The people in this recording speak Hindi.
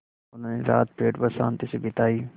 उन्होंने रात पेड़ पर शान्ति से बिताई